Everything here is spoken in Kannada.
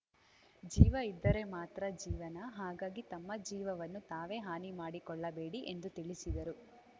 ಜೀವ ಇದ್ದರೆ ಮಾತ್ರ ಜೀವನ ಹಾಗಾಗಿ ತಮ್ಮ ಜೀವವನ್ನು ತಾವೇ ಹಾನಿ ಮಾಡಿಕೊಳ್ಳಬೇಡಿ ಎಂದು ತಿಳಿಸಿದರು